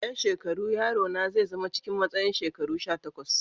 A yan shekaru, yaro na zai zama cikin matsayin shekaru sha takwas.